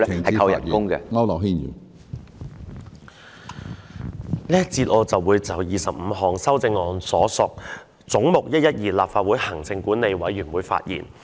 在這個環節，我會就編號25有關"總目 112─ 立法會行政管理委員會"的修正案發言。